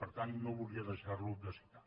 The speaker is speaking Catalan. per tant no volia deixar lo de citar